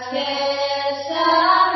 বন্দে মাতরম